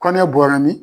Kɔnɔ bɔra ni